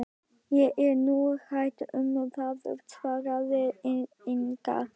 Ég er nú hrædd um það, svaraði Inga.